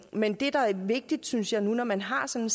men det der er vigtigt synes jeg nu når man har sådan